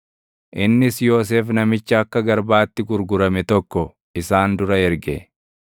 innis Yoosef namicha akka garbaatti gurgurame tokko isaan dura erge.